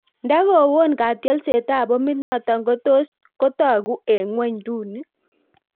Nda go-woon Katyolset ab pomit natong kotos kotagu en gwenyduni